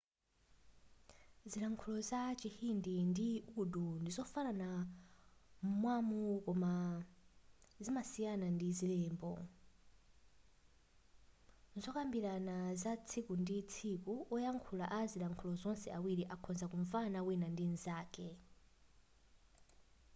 zilankhulo za chihindi ndi urdu ndi zofanana m'mawu koma zimasiyana ndi zilembo muzokambirana za tsiku ndi tsiku oyankhula a zilankhulo zonse ziwiri akhoza kumvana wina ndi nzake